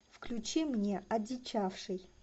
включи мне одичавший